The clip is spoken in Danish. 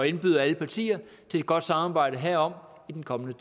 indbyde alle partier til et godt samarbejde herom i den kommende